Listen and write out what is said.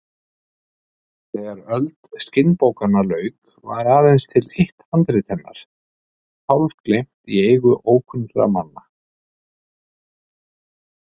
Þegar öld skinnbókanna lauk var aðeins til eitt handrit hennar, hálfgleymt í eigu ókunnra manna.